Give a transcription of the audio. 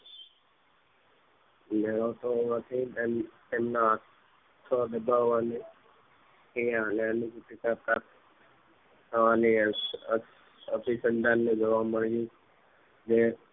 મેળવતો હોવાથી તેમ તેમના આંખો દબાવાની થી અને અન્ન પેટીકા અને અને અભિસંધાન ને જોવા મળ્યું ને